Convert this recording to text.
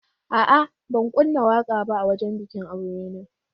A'a, ban kunna waƙa ba a wajen bikin aure na.